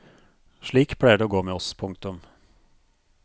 Slik pleier det å gå med oss. punktum